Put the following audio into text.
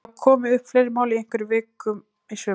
Hafa komið upp fleiri mál í einhverri viku í sumar?